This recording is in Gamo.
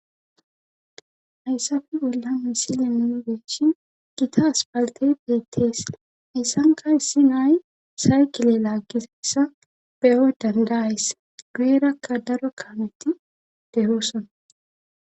hayssafe bollan misile nuni be'ishin gita aspaltey beettees hasanka issi na'i saykile laaggizassa beyoy dandayas guyerakka daro kameti de'osona